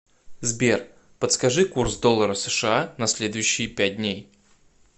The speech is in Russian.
сбер подскажи курс доллара сша на следующие пять дней